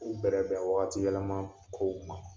U bɛrɛ bɛn waati yɛlɛma kow ma.